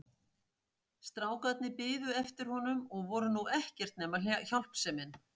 Strákarnir biðu eftir honum og voru nú ekkert nema hjálpsemin.